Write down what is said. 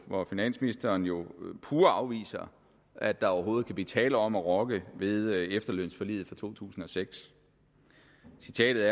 hvor finansministeren jo pure afviser at der overhovedet kan blive tale om at rokke ved efterlønsforliget fra to tusind og seks citatet